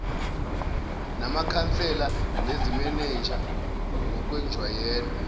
namakhansela nezimenenja ngokwenjwayelo